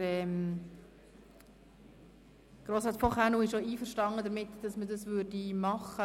Grossrat von Kaenel wäre damit einverstanden.